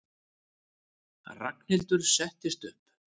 Ragnhildur settist upp.